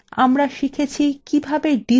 সংক্ষেপে আমরা শিখেছি কিভাবে: